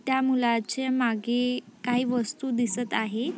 त्या मुलाचे मागे काही वस्तू दिसत आहे.